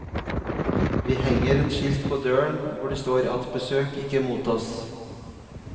Vi henger et skilt på døren hvor det står at besøk ikke mottas.